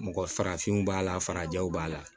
Mɔgɔ farafinw b'a la farajɛw b'a la